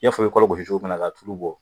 I y'a fɔ i bɛ kɔlɔ gosi cogo min na k'a tulu bɔ